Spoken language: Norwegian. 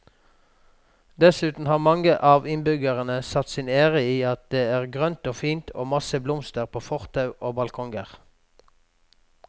Dessuten har mange av innbyggerne satt sin ære i at det er grønt og fint og masse blomster på fortau og balkonger.